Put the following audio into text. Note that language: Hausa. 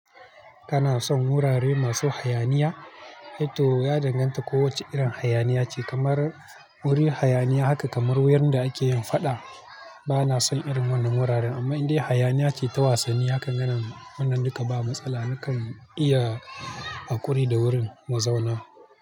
Kana son wurare masu hayaniya? To ya danganta kowacce irin hayaniya ce. Kamar wuri hayaniya haka kamar yanda ake yin faɗa, ba na son irin wannan wuraren. Amma idai hayaniya ce ta wasanni, hakan ganin wannan duka ba matsala. Nakan iya hakuri da wurin mazauna.